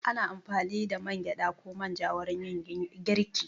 Ana amfani da man gyaɗa ko man ja wurin yin girki.